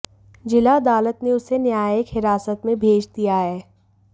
जिला अदालत ने उसे न्यायिक हिरासत में भेज दिया है